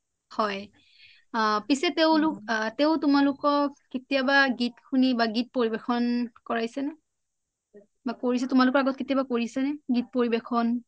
পিছে তেওঁ তোমালোকক কেতিয়াবা গীত শুনি বা গীত পৰিবেশন কৰাইছে নে বা তোমালোকৰ আগত কেতিয়াবা কৰিছে নে গীত পৰিৱেশন